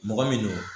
Mɔgɔ min don